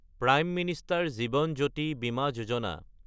prime minister Jeevan Jyoti Bima Yojana